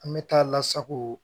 An bɛ taa lasago